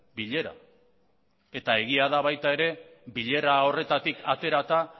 bilera eta egia da baita ere bilera horretatik aterata